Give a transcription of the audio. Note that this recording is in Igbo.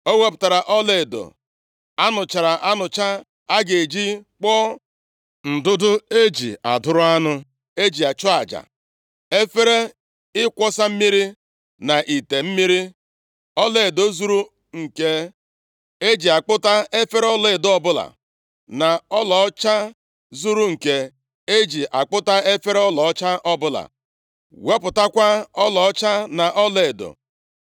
Ọ wepụtara ọlaedo a nụchara anụcha a ga-eji kpụọ ndụdụ e ji adụrụ anụ e ji chụọ aja, efere ịkwọsa mmiri na ite mmiri; ọlaedo zuru nke e ji akpụta efere ọlaedo ọbụla, na ọlaọcha zuru nke e ji akpụta efere ọlaọcha ọbụla, wepụtakwa ọlaọcha na ọlaedo.